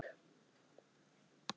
Við erum lík.